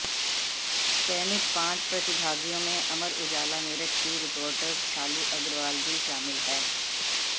चयनित पांच प्रतिभागियों में अमर उजाला मेरठ की रिपोर्टर शालू अग्रवाल भी शामिल हैं